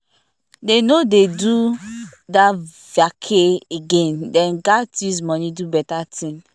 dey no dey go that vacay again dem gat use money do better thing